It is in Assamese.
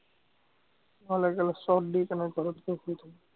নহলে চত দি কেনে ঘৰত গৈ শুই থাকিম